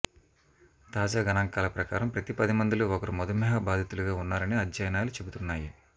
తాజా గణాంకాల ప్రకారం ప్రతిపదిమందిలో ఒకరు మధుమేహ బాధితులుగా ఉన్నారని అధ్యయనాలు చెబుతున్నాయి